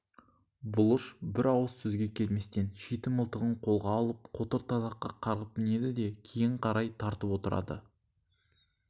бұлыш бір ауыз сөзге келместен шиті мылтығын қолға алып қотыр тайлаққа қарғып мінеді де кейін қарай тартып отырады